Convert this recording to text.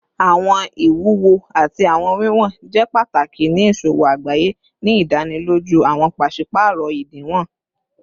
Awọn iwuwo ati awọn wiwọn jẹ pataki ni iṣowo agbaye, ni idaniloju awọn paṣipaarọ idiwọn